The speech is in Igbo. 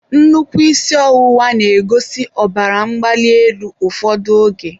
nnukwu isi ọwụwa na-egosi ọbara mgbali elu ụfọdụ oge.